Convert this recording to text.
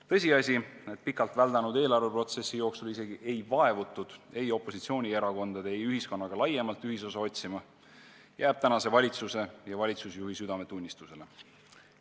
Tõsiasi, et pikalt väldanud eelarveprotsessi jooksul isegi ei vaevutud ei opositsioonierakondade ega ühiskonnaga laiemalt ühisosa otsima, jääb tänase valitsuse ja valitsusjuhi südametunnistusele.